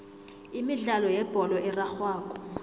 imidlalo yebholo erarhwako